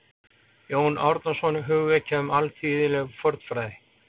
Jón Árnason: Hugvekja um alþýðleg fornfræði